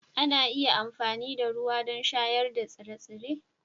Za a iya amfani da ruwa don shayar da tsire-tsire